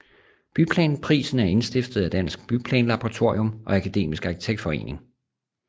Byplanprisen er indstiftet af Dansk Byplanlaboratorium og Akademisk Arkitektforening